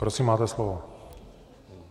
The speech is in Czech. Prosím máte slovo.